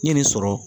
N ye nin sɔrɔ